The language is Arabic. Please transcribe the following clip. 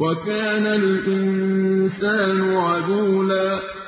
وَكَانَ الْإِنسَانُ عَجُولًا